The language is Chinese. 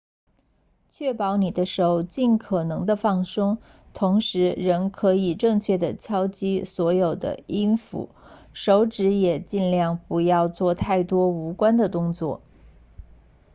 确保你的手尽可能地放松同时仍可以正确地敲击所有的音符手指也尽量不要做太多无关的动作